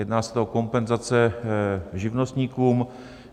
Jedná se o kompenzace živnostníkům.